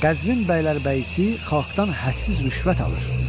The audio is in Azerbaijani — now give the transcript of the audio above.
Qəzvin bəylərbəyisi xalqdan hədsiz rüşvət alır.